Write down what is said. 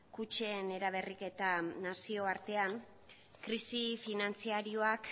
kutxen eraberriketa nazioartean krisi finantziarioak